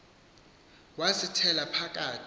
wasi thela phakathi